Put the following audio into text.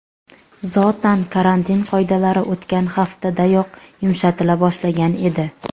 Zotan, karantin qoidalari o‘tgan haftadanoq yumshatila boshlagan edi.